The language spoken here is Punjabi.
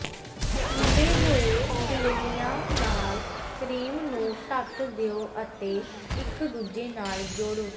ਠੰਢੇ ਹੋਏ ਗਿਲੇਨਿਆਂ ਨਾਲ ਕਰੀਮ ਨੂੰ ਢੱਕ ਦਿਓ ਅਤੇ ਇਕ ਦੂਜੇ ਨਾਲ ਜੋੜੋ